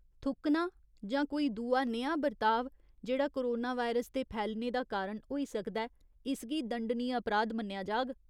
थुक्कना जां कोई दूआ नेहा बर्ताव जेह्ड़ा कोरोनावायरस दे फैलने दा कारण होई सकदा ऐ, इसगी दंडनीय अपराध मन्नेआ जाग।